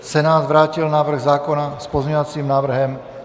Senát vrátil návrh zákona s pozměňovacím návrhem.